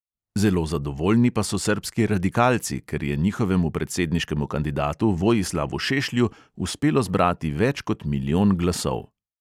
Zelo zadovoljni pa so srbski radikalci, ker je njihovemu predsedniškemu kandidatu vojislavu šešlju uspelo zbrati več kot milijon glasov.